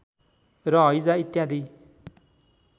र हैजा इत्यादि